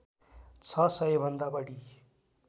छ सय भन्दा बढी